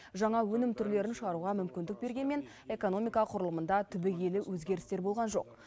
жаңа өнім түрлерін шығаруға мүмкіндік бергенімен экономика құрылымында түбегейлі өзгерістер болған жоқ